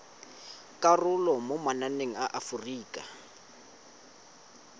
karolo mo mananeng a aforika